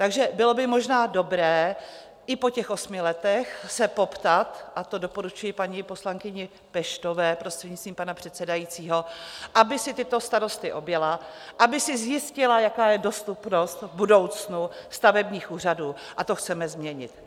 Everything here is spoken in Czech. Takže bylo by možná dobré i po těch osmi letech se poptat, a to doporučuji paní poslankyni Peštové, prostřednictvím pana předsedajícího, aby si tyto starosty objela, aby si zjistila, jaká je dostupnost v budoucnu stavebních úřadů, a to chceme změnit.